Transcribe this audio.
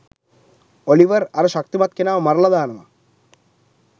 Oliver අර ශක්තිමත් කෙනාව මරලා දානවා.